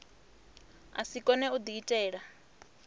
a si kone u diitela